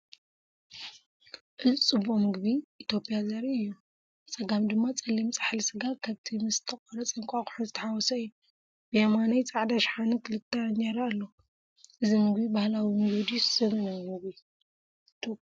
እዚ ፅቡቅ ምግቢ ኢትዮጵያ ዘርኢ እዩ። ብጸጋም ድማ ጸሊም ፃሕሊ ስጋ ከብቲ ምስ ዝተቖርጸ እንቋቑሖን ዝተሓዋወሰ እዩ። ብየማን ኣብ ጻዕዳ ሸሓነ ክልተ እንጀራ ኣለዋ። እዚ ምግቢ ባህላዊ ምግቢ ድዩስ ዘመናዊ ምግቢ ኢትዮጵያ?